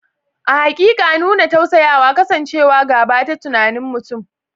A haƙiƙa, nuna tausayawa, kasancewa gaba da tunanin mutum.